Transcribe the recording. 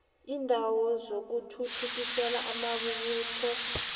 iindawo zokuthuthukisela amabubulo